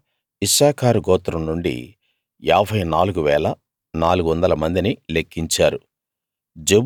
అలా ఇశ్శాఖారు గోత్రం నుండి 54 400 మందిని లెక్కించారు